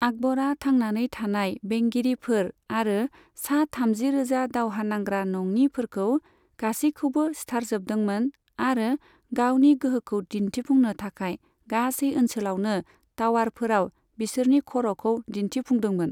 आकबरा थांनानै थानाय बेंगिरिफोर आरो सा थामजिरोजा दावहानांग्रा नङिफोरखौ गासैखौबो सिथारजोबदोंमोन आरो गावनि गोहोखौ दिन्थिफुंनो थाखाय गासै ओनसोलावनो टावारफोराव बिसोरनि खर'खौ दिन्थिफुंदोंमोन।